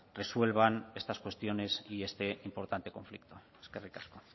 resuelvan estas cuestiones y este importante conflicto eskerrik asko